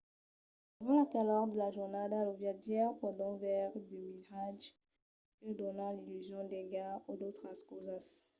durant la calor de la jornada los viatjaires pòdon veire de miratges que donan l’illusion d’aiga o d’autras causas